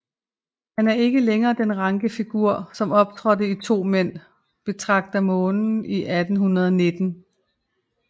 Han er ikke længere den ranke figur som optrådte i To mænd betragter månen i 1819